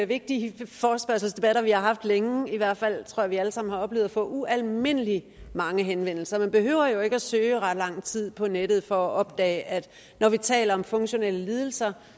vigtige forespørgselsdebatter vi har haft længe i hvert fald tror jeg vi alle sammen har oplevet at få ualmindelig mange henvendelser man behøver jo ikke at søge i ret lang tid på nettet for at opdage at når vi taler om funktionelle lidelser